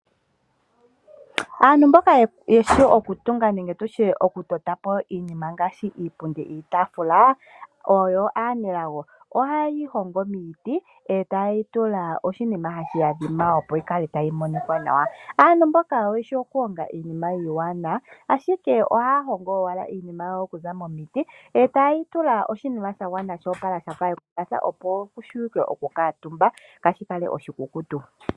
Aantu mboka yeshi okutunga nenge okutotapo iinima ngaaashi iipundi niitafula oyo aanelago . Ohaya yeyi hongo miiti eta yeyitula oshinima hashi adhima opo yikale tayi monika nawa. Aantu mboka oyeshi okuhonga iinima iiwanawa. Ohaya hongo owala iinima yawo okuza momiti etayeyi tula oshinima shagwana sho opala shafa ekumbatha opo kuvule okukuutumbwa kashikale oshikukutu.